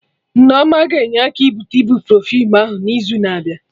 Nneoma ga-enyere aka gote ibuprofen ahụ n'izu na abịa